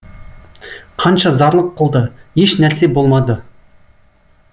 қанша зарлық қылды еш нәрсе болмады